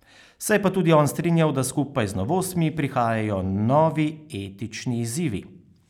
Se je pa tudi on strinjal, da skupaj z novostmi prihajajo novi etični izzivi.